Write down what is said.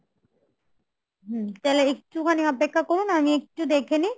হম তাহলে একটুখানি অপেক্ষা করুন আমি একটু দেখে নেই